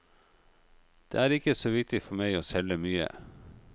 Det er ikke så viktig for meg å selge mye.